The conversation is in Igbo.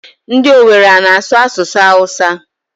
Ndị Owere ana-asụ asụsụ Awụsa?